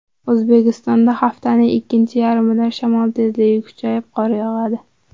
O‘zbekistonda haftaning ikkinchi yarmidan shamol tezligi kuchayib, qor yog‘adi.